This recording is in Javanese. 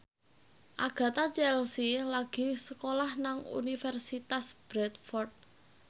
Agatha Chelsea lagi sekolah nang Universitas Bradford